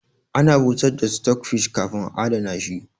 Ana busar da stockfish kafin a adana shi